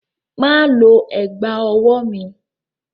Má lo ẹ̀gbá-ọwọ́ mi!